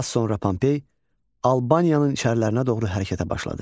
Az sonra Pompey Albaniyanın içərilərinə doğru hərəkətə başladı.